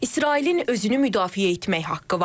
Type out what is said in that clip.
İsrailin özünü müdafiə etmək haqqı var.